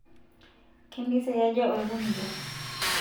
kempisai aja oekuniyia